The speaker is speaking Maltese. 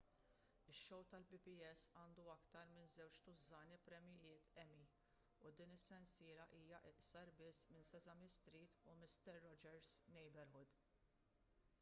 ix-show tal-pbs għandu aktar minn żewġ tużżani premjijiet emmy u din is-sensiela hija iqsar biss minn sesame street u mister rogers' neighborhood